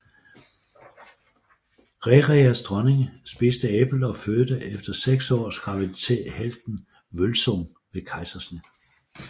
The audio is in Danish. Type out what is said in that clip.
Rerirs dronning spiste æblet og fødte efter seks års graviditet helten Vølsung ved kejsersnit